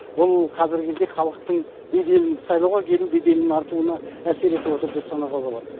бұл қазіргі кезде халықтың беделін сайлауға келу беделінің артуына әсер етіп отыр деп санауға болады